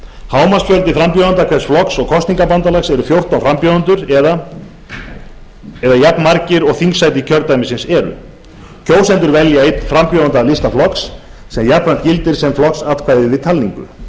hámarksfjöldi frambjóðanda hvers flokks og kosningabandalags er fjórtán frambjóðendur eða jafnmargir og þingsæti kjördæmisins eru kjósendur velja einn frambjóðanda af lista flokks sem jafnframt gildir sem flokksatkvæði við talningu